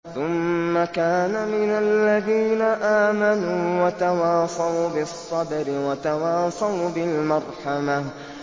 ثُمَّ كَانَ مِنَ الَّذِينَ آمَنُوا وَتَوَاصَوْا بِالصَّبْرِ وَتَوَاصَوْا بِالْمَرْحَمَةِ